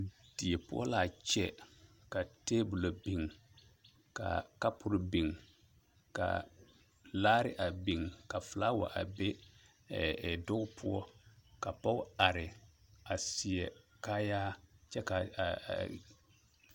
Die poɔ laa kyɛ ka tabolɔ biŋ kaa kapure biŋ kaa laare a biŋ ka flaawa a be ɛ ɛ duge poɔ ka pɔge are a seɛ kaayaa kyɛ ka a a.